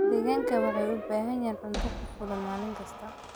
Digaagga waxay u baahan yihiin cunto ku filan maalin kasta.